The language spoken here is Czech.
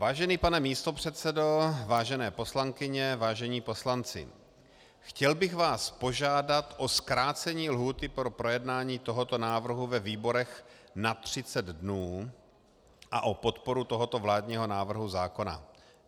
Vážený pane místopředsedo, vážené poslankyně, vážení poslanci, chtěl bych vás požádat o zkrácení lhůty pro projednání tohoto návrhu ve výborech na 30 dnů a o podporu tohoto vládního návrhu zákona.